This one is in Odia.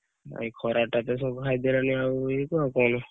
ଏଇ ଖରା ଟା ତ ଘାରି ଦେଲାଣି ଆଉ ଇଏ କୁ ଆଉ କଣ ?